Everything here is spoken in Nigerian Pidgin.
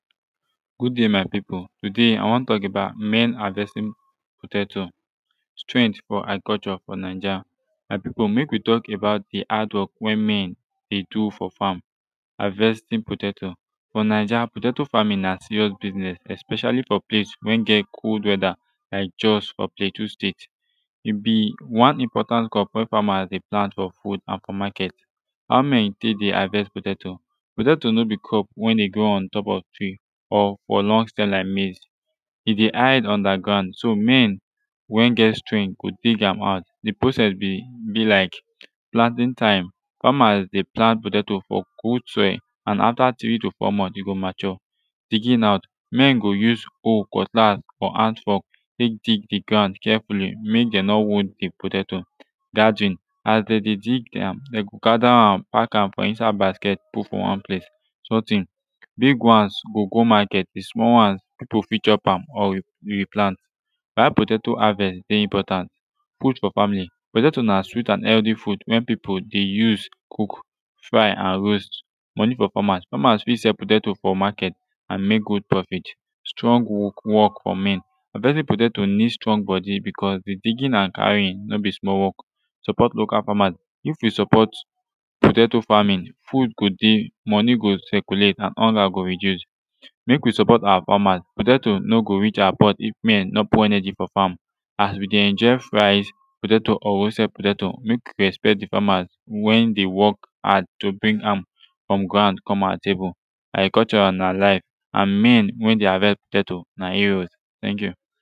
good dai my pipu todai i wan tok about men havestin potato strength fo agriculture fo naija my pipu mek wi tok abut de hardwork wey men de do fo fam havestin potato fo naija potato famin na serious bisnez especialli fo place wen get cold whether lik jos or plateau state e bi one important crop wey famas de plant fo food and fo maket how men tek de havest potato potato no bi crop wey dey grow untop of tree or fo long stem lik maize e de hide ungerground so men wen get strength go dig am out de process bi bi lik planting time famas dey plant potato fo cool soil an afta three to four months e go mature digging out men go use hoe cutlass or hand fork tek dig de ground carefully mek dem no wound de potato gathering as dem de dig am dem go gather am pack am inside basket put fo one place sorting big ones go go maket de small ones pipu fit chop or yu replant why potato havest dey important food fo famili potato na sweet an healthy food wen pipu dey use cook fry and roast monie fo famas famas fit sell potatoes fo maket an mek good profit strong wok fo men havestin potato nid strong bodi becuz de digging and carrying no bi small wok support local famas if wi support potato famin food go dey moni go circulate and hunger go reduce mek wi support awa famas potatos no go reach awa pot if men no put energy fo fam as wi de enjoy fries potato or roasted potato mek wi respect de famas wen dey wok hard to bring am frum ground come awa table agriculture na awa life and men wen dey havest potato na heros teink yu